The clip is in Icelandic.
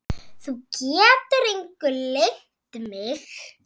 Þú getur engu leynt mig.